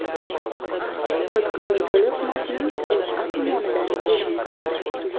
Nutqning to‘liq matni O‘zA tomonidan e’lon qilindi .